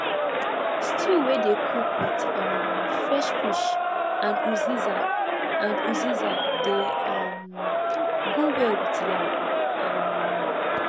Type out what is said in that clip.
stew wey dey cook with um fresh fish and uziza and uziza dey um go well with yam um